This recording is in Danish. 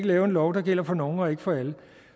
lave en lov der gælder for nogle og ikke for alle og